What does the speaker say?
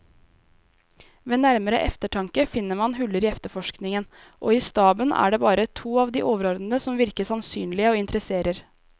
Ved nærmere eftertanke finner man huller i efterforskningen, og i staben er det bare to av de overordnede som virker sannsynlige og interesserer.